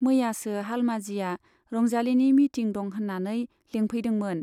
मैयासो हालमाजिया रंजालिनि मिटिं दं होन्नानै लेंफैदोंमोन।